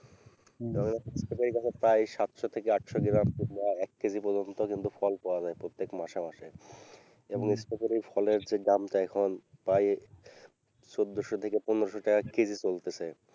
যখন বিক্রি করি তখন প্রায় সাতশো থেকে আঠশো গ্রাম কিংবা এক কেজি পর্যন্ত কিন্তু ফল পাওয়া যায় প্রত্যেক মাসে মাসে এবং এই ফলের যে দামটা এখন প্রায় চোদ্দোশো থেকে পনেরোশো টাকা কেজি চলতেছে।